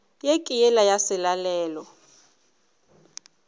ye ke yela ya selalelo